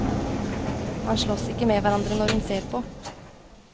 Man slåss ikke med hverandre når hun ser på.